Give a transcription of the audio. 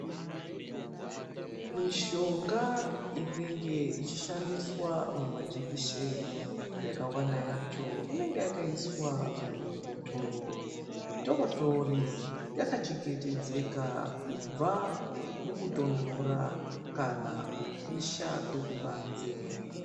Mishonga inenge ichi shandiswa muma jekiseni yakawanda yacho inonga yakaiswa muzvibhotoro zvitotori, yaka chengetedzeka kubva mukutonhora kana kupisha kwekubanze.